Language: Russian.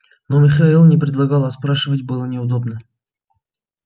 но михаил не предлагал а спрашивать было неудобно